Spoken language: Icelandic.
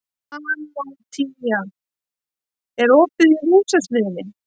Antonía, er opið í Húsasmiðjunni?